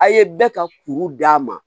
A' ye bɛɛ ka kuru d'a ma